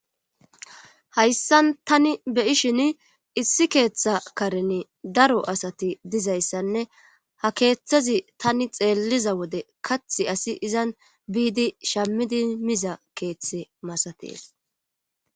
Hayssan tani beyishin issi keeththa karen daro asati dizayssanne ha keeththazi tani xeelliza wode kathi asi izan biidi shammidi miza keeththe masatees